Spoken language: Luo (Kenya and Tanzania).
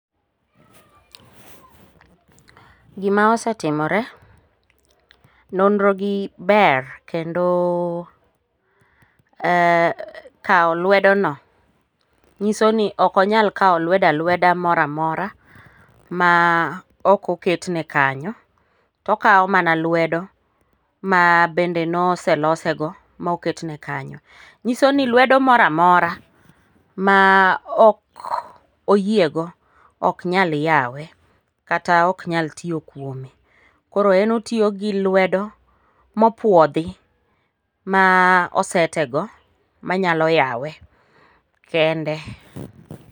Gima osetimore ,nonrogi ber kendo kawo lwedono nyiso ni ok onyal kawo lwedo alweda mora mora ma ok oketne kanyo, to okawo mana lwedo ma bende noselosego moketne kanyo. Nyisoni lwedo mora mora ma ok oyiego ok nyal yawe kata ok nyal tiyo kuome, koro en otiyo gi lwedo mopuodhi ma osetego manyalo yawe, kende.